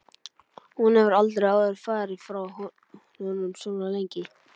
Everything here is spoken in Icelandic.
Hún hefur aldrei áður farið frá honum svona lengi.